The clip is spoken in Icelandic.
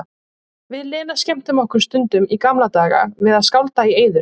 Við Lena skemmtum okkur stundum í gamla daga við að skálda í eyður.